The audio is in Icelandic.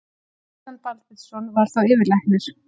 Kristján Baldvinsson var þá yfirlæknir.